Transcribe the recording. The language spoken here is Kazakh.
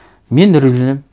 мен үрейленемін